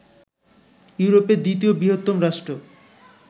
ইউরোপের দ্বিতীয় বৃহত্তম রাষ্ট্র